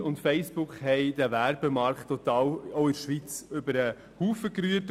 Google und Facebook haben den Werbemarkt auch in der Schweiz total über den Haufen geworfen.